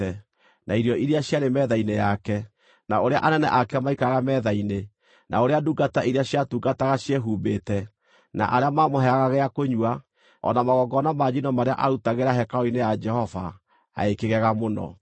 na irio iria ciarĩ metha-inĩ yake, na ũrĩa anene ake maikaraga metha-inĩ, na ũrĩa ndungata iria ciatungataga ciehumbĩte, na arĩa maamũheaga gĩa kũnyua, o na magongona ma njino marĩa aarutagĩra hekarũ-inĩ ya Jehova, agĩkĩgega mũno.